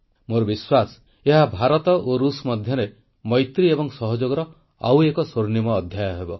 ମୋର ବିଶ୍ୱାସ ଏହା ଭାରତ ଓ ଋଷ ମଧ୍ୟରେ ମୈତ୍ରୀ ଏବଂ ସହଯୋଗର ଆଉ ଏକ ସ୍ୱର୍ଣ୍ଣିମ ଅଧ୍ୟାୟ ହେବ